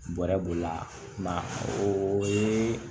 Bɔrɛ b'o la o ye